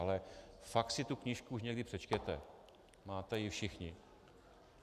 Ale fakt si tu knížku už někdy přečtěte, máte ji všichni.